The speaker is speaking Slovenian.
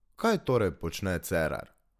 Kaj torej počne Cerar?